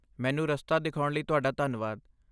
ਮੈਨੂੰ ਰਸਤਾ ਦਿਖਾਉਣ ਲਈ ਤੁਹਾਡਾ ਧੰਨਵਾਦ।